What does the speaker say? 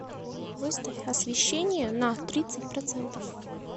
выставь освещение на тридцать процентов